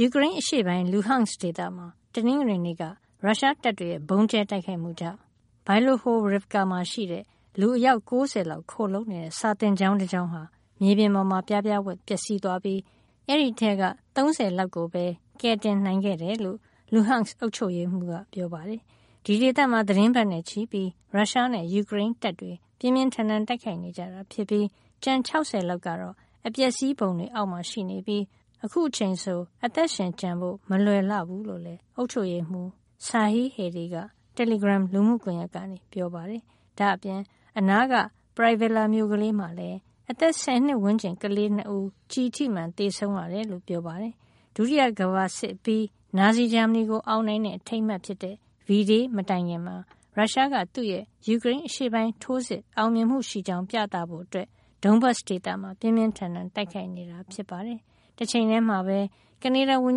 ယူကရိန်းအရှေ့ပိုင်း Luhansk ဒေသမှာ တနင်္ဂနွေနေ့က ရုရှားတပ်တွေရဲ့ ဗုံးကြဲတိုက်ခိုက်မှုကြောင့် Bilohorivka မှာရှိတဲ့ လူ ၉၀ လောက် ခိုလှုံနေတဲ့ စာသင်ကျောင်းတကျောင်းဟာ မြေပေါ်မှာ ပြားပြားဝပ်ပျက်စီးသွားပြီး အဲဒီထဲက ၃၀ လောက်ကိုပဲ ကယ်တင်နိုင်ခဲ့တယ်လို့ Luhansk အုပ်ချုပ်ရေးမှူးက ပြောပါတယ်။ ဒီဒေသမှာ သီတင်းပတ်နဲ့ချီပြီး ရုရှားနဲ့ ယူကရိန်းတပ်တွေ ပြင်းပြင်းထန်ထန် တိုက်ခိုက်နေကြတာဖြစ်ပြီး ကျန် ၆၀ လောက်ကတော့ အပျက်စီးပုံတွေအောက်မှာ ရှိနေပြီး ခုချိန်ဆို အသက်ရှင်ကျန်ဖို့ မလွယ်ဘူးလို့လည်း အုပ်ချုပ်ရေးမှူး Serhiy Haidai က တယ်လီဂရမ် လူမှုကွန်ရက်ကနေ ပြောပါတယ်။ ဒါ့အပြင် အနားက Pryvillia မြို့ကလေးမှာလည်း အသက် ၁၀ နှစ်ဝန်းကျင် ကလေး ၂ ဦး ကျည်ထိမှန် သေဆုံးရတယ်လို့ ပြောပါတယ်။ ဒုတိယကမ္ဘာစစ်အပြီး နာဇီဂျာမနီကို အောင်နိုင်တဲ့ အထိမ်းအမှတ်ဖြစ်တဲ့ V Day မတိုင်ခင်မှာ ရုရှားက သူ့ရဲ့ ယူကရိန်းအရှေ့ပိုင်းထိုးစစ် အောင်မြင်မှုရှိကြောင်း ပြသဖို့ Donbas ဒေသမှာ ပြင်းပြင်းထန်ထန် တိုက်ခိုက်နေတာ ဖြစ်ပါတယ်။ တချိန်တည်းမှာပဲ ကနေဒါဝန်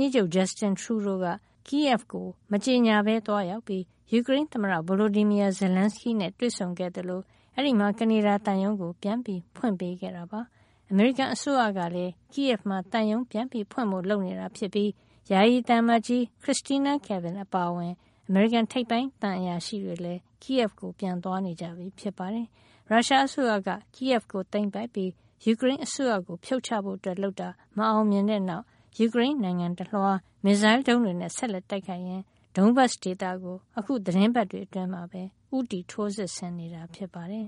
ကြီးချုပ် Justin Trudeau က Kyiv ကို မကြေညာဘဲ သွားရောက်ပြီး ယူကရိန်းသမ္မတ Volodymyr Zelenskyy နဲ့ တွေ့ဆုံခဲ့သလို အဲဒီမှာ ကနေဒါသံရုံး ပြန်ဖွင့်ပေးခဲ့တာပါ။ အမေရိကန်အစိုးရကလည်း Kyiv မှာ သံရုံးပြန်ဖွင့်ဖို့ လုပ်နေတာဖြစ်ပြီး ယာယီသံအမတ်ကြီး Kristina Kvien အပါအဝင် အမေရိကန် ထိပ်ပိုင်းသံအရာရှိတွေလည်း Kyiv ကို ပြန်သွားနေပြီဖြစ်ပါတယ်။ ရုရှားအစိုးရက Kyiv ကို သိမ်းပိုက်ပြီး ယူကရိန်းအစိုးရကို ဖြုတ်ချဖို့လုပ်တာ မအောင်မြင်တဲ့နောက် ယူကရိန်းနိုင်ငံတလွှား မစ်ဇိုင်းဒုံးတွေနဲ့ ဆက်လက်တိုက်ခိုက်ရင်း Donbas ဒေသကို အခုသီတင်းပတ်တွေ အတွင်းမှာပဲ ဦးတည် ထိုးစစ်ဆင်နေတာ ဖြစ်ပါတယ်